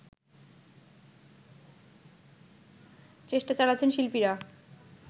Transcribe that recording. চেষ্টা চালাচ্ছেন শিল্পীরা